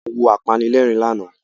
A wo apanilẹ́rìn lánàá